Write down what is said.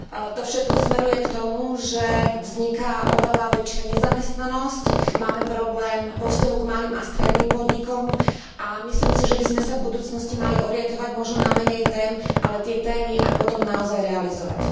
To všetko smeruje k tomu, že vzniká oveľa väčšia nezamestnanosť, máme problém vo vzťahu k malým a stredným podnikom, a myslím si, že by sme sa v budúcnosti mali orientovať možno na menej tém, ale tie témy aj potom naozaj realizovať.